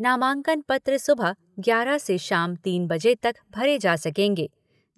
नामांकन पत्र सुबह ग्यारह से शाम तीन बजे तक भरे जा सकेंगे